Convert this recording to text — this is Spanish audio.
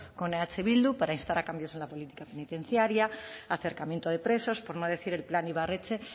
con eh bildu para instar a cambios en la política penitenciaria acercamiento de presos por no decir el plan ibarretxe